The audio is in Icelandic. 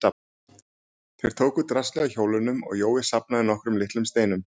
Þeir tóku draslið af hjólunum og Jói safnaði nokkrum litlum steinum.